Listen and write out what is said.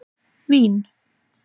Vín